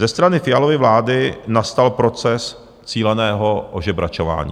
Ze strany Fialovy vlády nastal proces cíleného ožebračování.